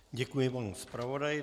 Děkuji panu zpravodaji.